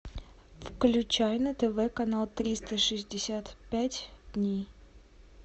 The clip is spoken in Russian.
включай на тв канал триста шестьдесят пять дней